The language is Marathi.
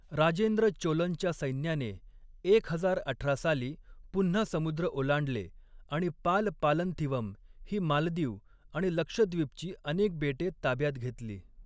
राजेंद्र चोलनच्या सैन्याने एक हजार अठरा साली पुन्हा समुद्र ओलांडले आणि पाल पालंथिवम ही मालदीव आणि लक्षद्वीपची अनेक बेटे ताब्यात घेतली.